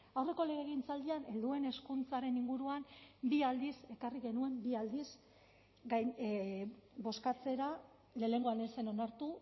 aurreko legegintzaldian helduen hezkuntzaren inguruan bi aldiz ekarri genuen bi aldiz bozkatzera lehenengoan ez zen onartu